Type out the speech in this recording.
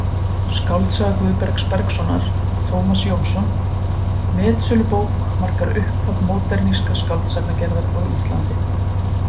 Skáldsaga Guðbergs Bergssonar, Tómas Jónsson: metsölubók markar upphaf módernískrar skáldsagnagerðar á Íslandi.